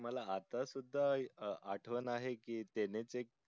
पण आता सुद्धा आठवणं आहे कि benifit